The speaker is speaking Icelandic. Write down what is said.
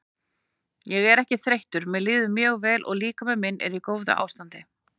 Ég er ekki þreyttur mér líður mjög vel og líkami minn er í góðu ástandi.